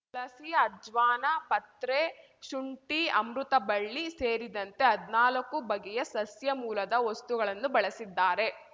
ತುಳಸಿ ಅಜ್ವಾನ ಪತ್ರೆ ಶುಂಠಿ ಅಮೃತಬಳ್ಳಿ ಸೇರಿದಂತೆ ಹದ್ನಾಲ್ಕು ಬಗೆಯ ಸಸ್ಯ ಮೂಲದ ವಸ್ತುಗಳನ್ನು ಬಳಸಿದ್ದಾರೆ